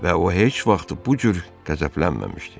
Və o heç vaxt bu cür qəzəblənməmişdi.